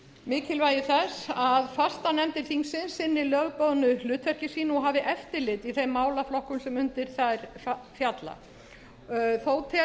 mikilvægi þess að fastanefndir þingsins sinni lögbundnu hlutverki sínu og hafi eftirlit í þeim málaflokkum sem undir þær falla þó telur